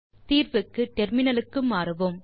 தீர்வுக்கு டெர்மினலுக்கு மாறுவோம்